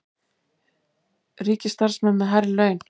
Ríkisstarfsmenn með hærri laun